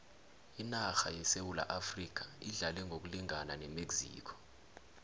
inarha yesewula afrikha idlale ngokulingana nemexico